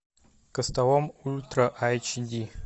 костолом ультра айч ди